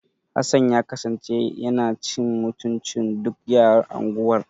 Hassan ya kasance yana cin mutuncin duk yaran unguwar.